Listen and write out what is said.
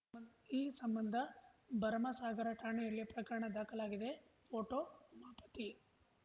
ಈ ಸಂಬಂಧ ಭರಮಸಾಗರ ಠಾಣೆಯಲ್ಲಿ ಪ್ರಕರಣ ದಾಖಲಾಗಿದೆ ಫೋಟೋ ಉಮಾಪತಿ